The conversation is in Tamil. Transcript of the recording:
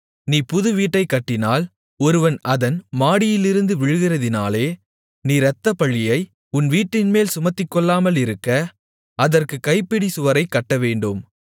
நீ புது வீட்டைக் கட்டினால் ஒருவன் அதன் மாடியிலிருந்து விழுகிறதினாலே நீ இரத்தப்பழியை உன் வீட்டின்மேல் சுமத்திக்கொள்ளாமலிருக்க அதற்குக் கைப்பிடிச் சுவரைக் கட்டவேண்டும்